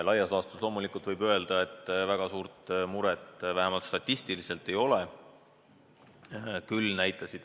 Laias laastus loomulikult võib öelda, et väga suurt muret, vähemalt statistiliselt, ei ole.